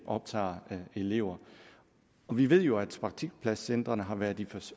optager elever vi ved jo at praktikpladscentrene har været et